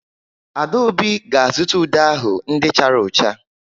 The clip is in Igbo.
Adaobi ga-azụta ude ahụ ndị chara ụcha.